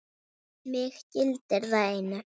Mig gildir það einu.